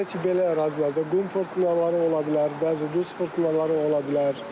Belə ki, belə ərazilərdə qum fırtınaları ola bilər, bəzi duz fırtınaları ola bilər.